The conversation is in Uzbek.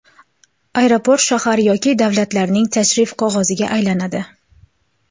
Aeroport shahar yoki davlatlarning tashrif qog‘oziga aylanadi.